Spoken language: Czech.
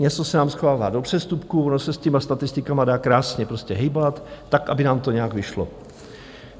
Něco se nám schovává do přestupků, ono se s těmi statistikami dá krásně prostě hýbat tak, aby nám to nějak vyšlo.